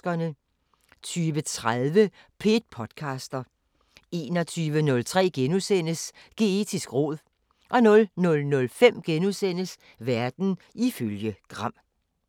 20:30: P1 podcaster 21:03: Geetisk råd * 00:05: Verden ifølge Gram *